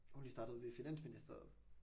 Hun lige startet ved finansministeriet